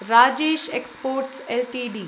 Rajesh exports Ltd